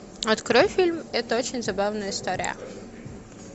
открой фильм это очень забавная история